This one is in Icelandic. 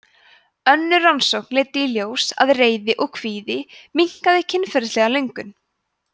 önnur rannsókn leiddi í ljós að reiði og kvíði minnkaði kynferðislega löngun